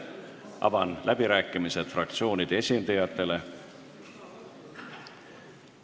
Avan läbirääkimised fraktsioonide esindajatele.